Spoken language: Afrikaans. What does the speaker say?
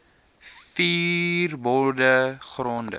ver bode gronde